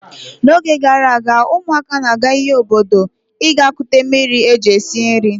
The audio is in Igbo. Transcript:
N'oge gara aga, ụmụaka na-aga iyi obodo ịga kute mmiri e ji esi nri.